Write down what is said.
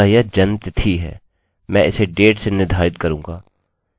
अतः यह जन्मतिथि है